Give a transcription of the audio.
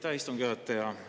Aitäh, istungi juhataja!